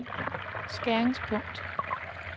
skæringspunkt